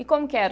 E como que era?